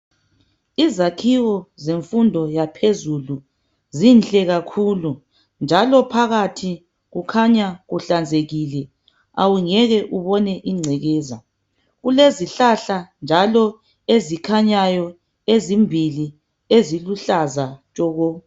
Izakhiwo zemfundo yaphezulu zinhle kakhulu, njalo phakathi kukhanya kuhlanzekile. Awungeke ubone ingcekeza. Kulezihlahla njalo ezikhanyayo ezimbili eziluhlaza tshoko.